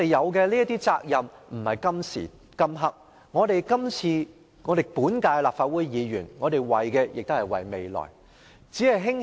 我們承擔的責任不止於今時今刻，本屆立法會議員為的是未來。